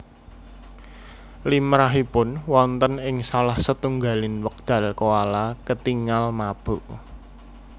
Limrahipun wonten ing salah setunggaling wekdal koala ketingal mabuk